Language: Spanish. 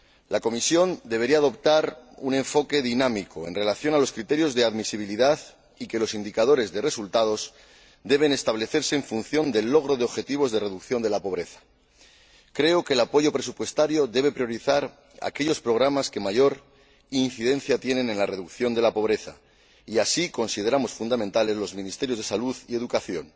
La Comisión debería adoptar un enfoque dinámico en relación con los criterios de admisibilidad, y los indicadores de resultados deben establecerse en función del logro de objetivos de reducción de la pobreza. Creo que el apoyo presupuestario debe priorizar aquellos programas que mayor incidencia tienen en la reducción de la pobreza y así consideramos fundamentales los ministerios de salud y educación.